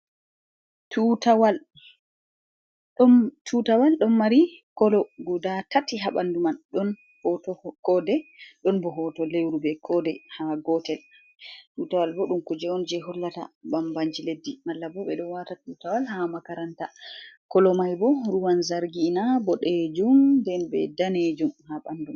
Tutawal ɗon mari kolo guda tati ha ɓandu man ɗon hoto kode, ɗon bo hoto lewru be kode ha gotel. Tutawal bo ɗum kuje on je hollata bambanji leddi malla bo ɓeɗo wata tutawal ha makaranta, kolo mai bo ruwan zargina boɗejum nden be danejum ha ɓanduman.